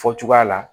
Fɔ cogoya la